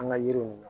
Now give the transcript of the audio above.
An ka yiriw